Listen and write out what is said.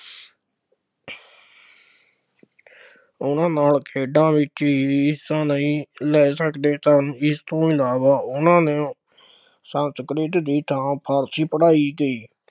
ਉਹਨਾ ਨਾਲ ਖੇਡਾ ਵਿੱਚ ਵੀ ਹਿੱਸਾ ਨਹੀਂ ਲੈ ਸਕਦੇ ਸਨ, ਇਸ ਤੋਂ ਇਲਾਵਾ ਉਹਨਾ ਨੇ ਸੰਸਕ੍ਰਿਤ ਦੀ ਥਾਂ ਫਾਰਸੀ ਪੜ੍ਹਾਈ ਗਈ।